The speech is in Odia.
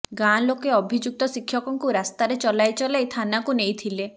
ଗାଁ ଲୋକେ ଅଭିଯୁକ୍ତ ଶିକ୍ଷକଙ୍କୁ ରାସ୍ତାରେ ଚଲାଇ ଚଲାଇ ଥାନାକୁ ନେଇଥିଲେ